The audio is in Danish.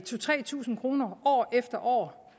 tre tusind kroner år efter år